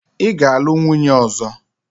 Ị ga-alụ nwunye ọzọ!